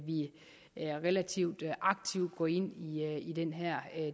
vi relativt aktivt går ind i den her